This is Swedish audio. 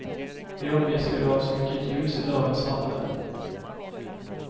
Vi omges ju av så mycket ljus i dagens samhälle.